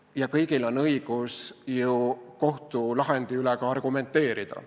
Ja kõigil on õigus ju ka kohtulahendi üle argumenteerida.